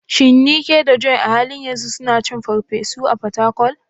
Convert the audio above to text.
Shin Nneka da Joy a halin yanzu suna cin farfesu a Fatakwal?